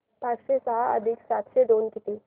पाचशे सहा अधिक सातशे दोन किती